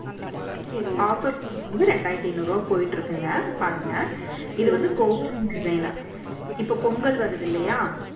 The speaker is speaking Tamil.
offer ரெண்டாயிரத்தி ஐநூறு ரூபாய் போயிட்டு இருக்குங்க. பாருங்க. இது வந்து கோபுரம் design உ இப்ப பொங்கல் வருது இல்லையா